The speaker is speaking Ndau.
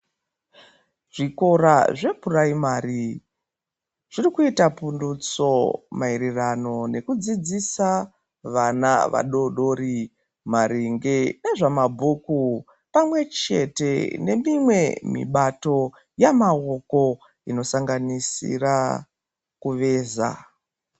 Zvikora zvepuraimari zvirikuita pundutso maererano nekudzidzisa vana vadodori maringe nezvamabhuku pamwechete nemimwe mibato yamaoko inosanganisira kuveza.